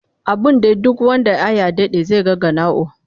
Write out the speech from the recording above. Abun dai duk wand Aya Dade zai ga ganao